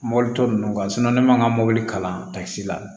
Mɔbili tɔ ninnu ne ma n ka mɔbili kalan si la